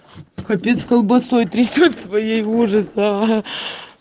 капец колбасой трясёт своей ужас аа